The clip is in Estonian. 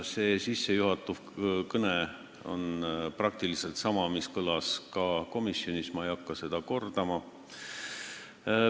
Tänane sissejuhatav kõne oli praktiliselt sama, mis kõlas ka komisjonis – ma ei hakka seda kordama.